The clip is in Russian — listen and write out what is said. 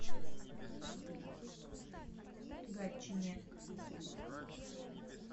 гатчине